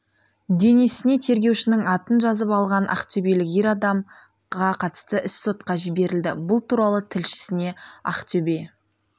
денесіне тергеушінің атын жазып алған ақтөбелік ер адамға қатысты іс сотқа жіберілді бұл туралы тілшісіне ақтөбе